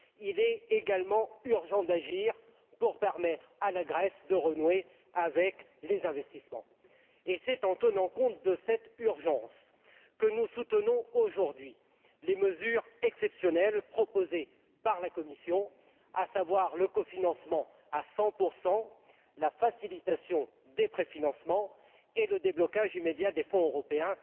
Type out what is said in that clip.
Il est également urgent d'agir pour permettre à la Grèce de renouer avec les investissements. C'est en tenant compte de cette urgence que nous soutenons aujourd'hui les mesures exceptionnelles proposées par la Commission, à savoir le cofinancement à 100 la facilitation des préfinancements et le déblocage immédiat des fonds européens.